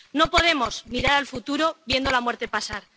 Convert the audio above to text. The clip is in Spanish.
No podemos mirar al futuro viendo la muerte pasar.